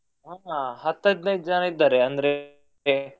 ಹಾ ಹತ್ತು ಹದಿನೈದು ಜನ ಇದ್ದಾರೆ ಅಂದ್ರೆ.